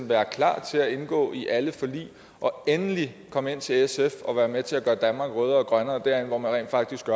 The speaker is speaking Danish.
være klar til at indgå i alle forlig og endelig komme ind til sf og være med til at gøre danmark rødere og grønnere derind hvor man faktisk